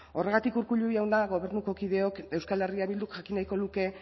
horregatik urkullu jauna gobernuko kideok euskal herria bilduk jakin nahiko luke